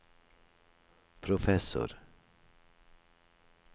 professor